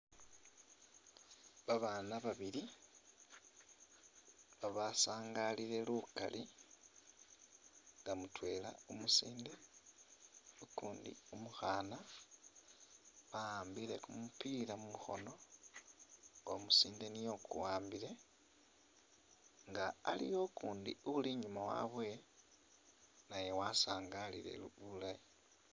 Babaana babili babasangaliile lukali nga mutwela umusinde, ukundi umukhaana, ba'ambile kumupila mukhoono nga umusinde niye ukuwambike, nga aliwo ukuundi uli inyuma wabwe naye wasangaliile bulayi.